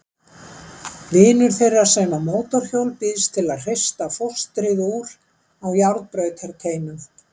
Vinur þeirra sem á mótorhjól býðst til að hrista fóstrið úr á járnbrautarteinum.